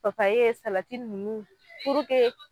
Papaye salati ninnu